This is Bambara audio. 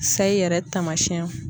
Sayi yɛrɛ taamasiyɛn